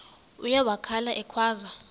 uye wakhala ekhwaza